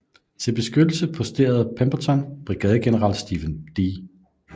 Til beskyttelse posterede Pemberton brigadegeneral Stephen D